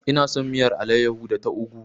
Ina son miyar alayyahu da ta ugwu.